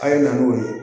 A' ye na n'o ye